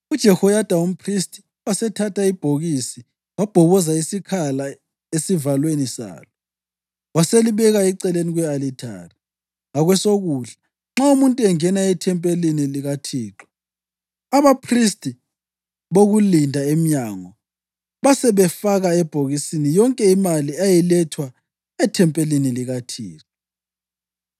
UJehoyada umphristi wasethatha ibhokisi, wabhoboza isikhala esivalweni salo, waselibeka eceleni kwe-alithari, ngakwesokudla nxa umuntu engena ethempelini likaThixo. Abaphristi bokulinda emnyango basebefaka ebhokisini yonke imali eyayilethwa ethempelini likaThixo.